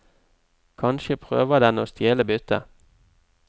Kanskje prøver den å stjele byttet.